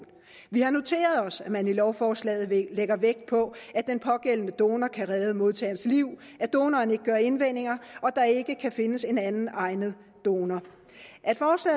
vi har noteret os at man i lovforslaget lægger vægt på at den pågældende donor kan redde modtagerens liv at donoren ikke gør indvendinger at der ikke kan findes en anden egnet donor